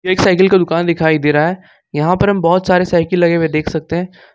एक साइकिल का दुकान दिखाई दे रहा है यहां पर हम बहोत सारे साइकिल लगे हुए देख सकते हैं।